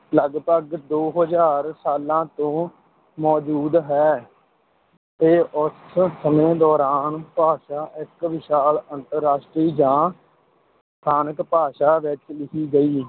ਲਗਭਗ ਦੋ ਹਜ਼ਾਰ ਸਾਲਾਂ ਤੋਂ ਮੌਜੂਦ ਹੈ ਤੇ ਉਸ ਸਮੇਂ ਦੌਰਾਨ ਭਾਸ਼ਾ ਇਕ ਵਿਸ਼ਾਲ ਅੰਤਰਰਾਸ਼ਟਰੀ ਜਾਂ ਸਥਾਨਕ ਭਾਸ਼ਾ ਵਿਚ ਲਿਖੀ ਗਈ।